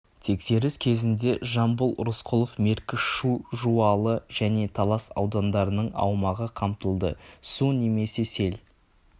тексеріс кезінде жамбыл рысқұлов меркі шу жуалы және талас аудандарының аумағы қамтылды су немесе сел